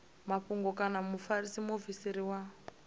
mafhungo kana mufarisa muofisiri wa